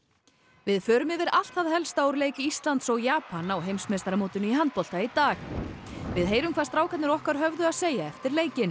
við förum yfir allt það helsta úr leik Íslands og Japan á heimsmeistaramótinu í handbolta í dag við heyrum hvað strákarnir okkar höfðu að segja eftir leikinn